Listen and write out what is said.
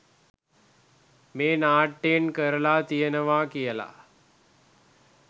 මේ නාට්‍යයෙන් කරලා තියෙනවා කියලා